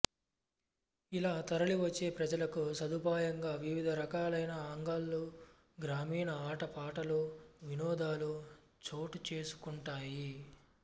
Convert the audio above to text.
ఇలా తరలి వచ్చే ప్రజలకు సదుపాయంగా వివిధారకాలైన అంగళ్ళూ గ్రామీణ ఆట పాటలూ వినోదాలు చోటు చేసుకుంటాయి